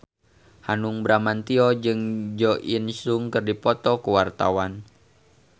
Hanung Bramantyo jeung Jo In Sung keur dipoto ku wartawan